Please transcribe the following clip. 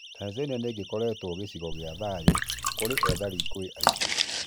Tanzania nĩgĩkoretwo gĩcigo gĩa thayu kũrĩ ethari ngũĩ aingĩ.